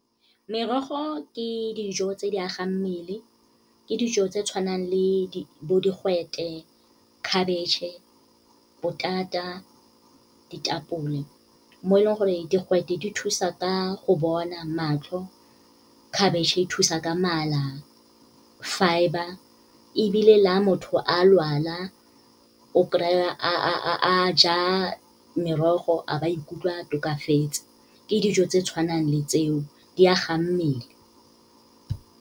Merogo ke dijo tse di agang mmele, ke dijo tse tshwanang le bo digwete, khabetšhe, potata, ditapole. Mo e leng gore digwete di thusa ka go bona, matlho, khabitšhe e thusa ka mala, fibre. Ebile la motho a lwala, o kry-a a ja merogo, a ba ikutlwa a tokafetse, ke dijo tse tshwanang le tseo, di agang mmele.